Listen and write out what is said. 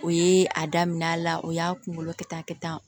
O ye a daminɛ la o y'a kunkolo kɛ tan kɛ tan